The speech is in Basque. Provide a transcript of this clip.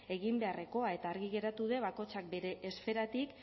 egin beharrekoa eta argi geratu de bakotzak bere esferatik